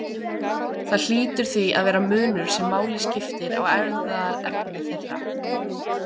Það hlýtur því að vera munur sem máli skiptir á erfðaefni þeirra.